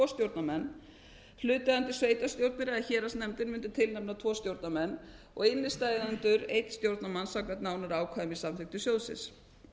stjórnarmenn hlutaðeigandi sveitarstjórnir eða héraðsnefndir mundu tilnefna tvo stjórnarmenn og innstæðueigendur einn stjórnarmann samkvæmt nánari ákvæðum í samþykktum sjóðsins